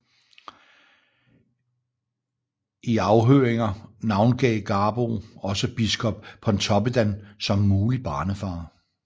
I afhøringer navngav Garboe også biskop Pontoppidan som mulig barnefar